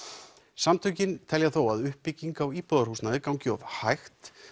samtökin telja þó að uppbygging á íbúðarhúsnæði gangi of hægt